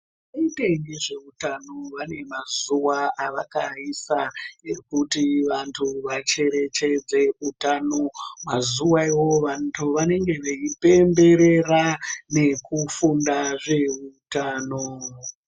Hurumende yezveutano wane mazuwa awakaisa ekuti wandu wacherechedze utano mazuwa iwowo wandu wanenge wei pemberera nekufunda zvehutano.